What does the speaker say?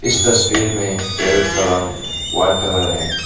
इस तस्वीर में पैरट का रंग व्हाइट कलर है।